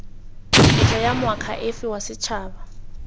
tetla ya moakhaefe wa setshaba